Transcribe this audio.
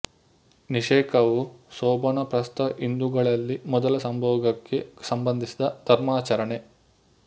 ನಿಷೇಕವು ಶೋಭನ ಪ್ರಸ್ತ ಹಿಂದೂಗಳಲ್ಲಿ ಮೊದಲ ಸಂಭೋಗಕ್ಕೆ ಸಂಬಂಧಿಸಿದ ಧರ್ಮಾಚರಣೆ